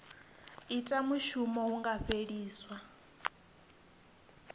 ita mushumo hu nga fheliswa